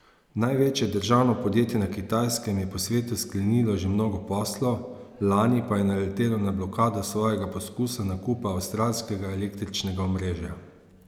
Največje državno podjetje na Kitajskem je po svetu sklenilo že mnogo poslov, lani pa je naletelo na blokado svojega poskusa nakupa avstralskega električnega omrežja.